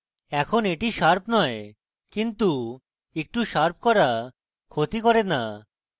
এখন এটি শার্প নয় এবং একটু শার্প করা ক্ষতি করে না